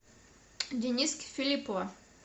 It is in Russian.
дениски филиппова